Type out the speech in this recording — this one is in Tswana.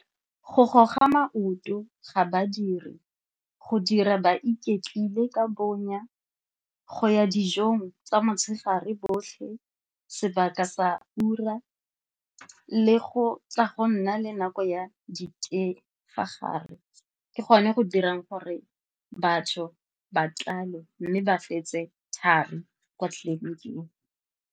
Go goga maoto ga badiri, go dira ba iketlile ka bonya go ya dijong tsa motshegare otlhe sebaka sa ura le go tsa go nna le nako ya di ka fa gare ke gone go dirang gore batho ba tlale mme ba fetse thari kwa tleliniking.